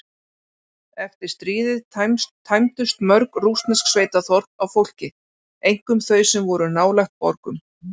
Eftir stríðið tæmdust mörg rússnesk sveitaþorp af fólki, einkum þau sem voru nálægt borgum.